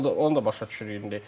O da onu da başa düşürük indi.